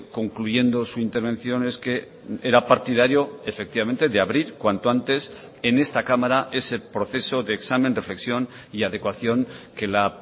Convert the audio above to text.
concluyendo su intervención es que era partidario efectivamente de abrir cuanto antes en esta cámara ese proceso de examen reflexión y adecuación que la